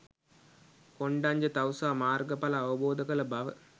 කොණ්ඩඤ්ඤ තවුසා මාර්ග ඵල අවබෝධ කළ බව